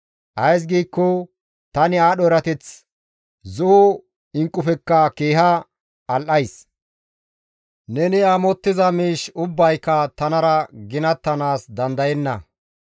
Ays giikko, «Tani aadho erateththi zo7o inqqufekka keeha al7ays; neni amottiza miish ubbayka tanara ginattanaas dandayenna.